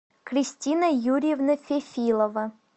кристина юрьевна фефилова